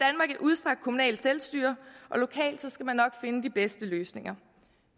udstrakt kommunalt selvstyre og lokalt skal man nok finde de bedste løsninger